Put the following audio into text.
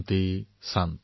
शान्तिशान्ति